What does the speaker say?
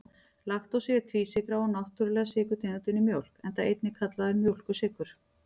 Laktósi er tvísykra og náttúrulega sykurtegundin í mjólk, enda einnig kallaður mjólkursykur.